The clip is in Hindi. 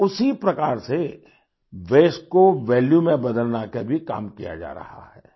कुछ उसी प्रकार से वास्ते को वैल्यू में बदलने का भी काम किया जा रहा है